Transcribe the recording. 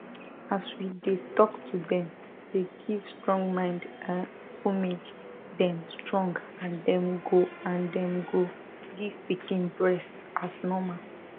as we dey talk to them dey give strong mind er homage them strong and them go and them go give pikin breast as normal